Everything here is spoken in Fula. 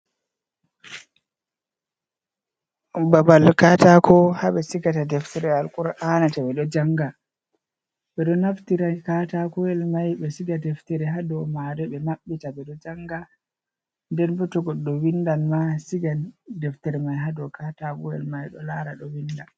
Babal kataako haa ɓe sigata deftere Alkur'ana ,to ɓe ɗo jannga, ɓe ɗo naftira katakoyel may, ɓe siga deftere haa dow maagel, ɓe maɓɓita ɓe ɗo jannga. Nden bato goɗɗo winndan ma, siga deftere may haa dow katakoyel may, ɗo laara ɗo winnda .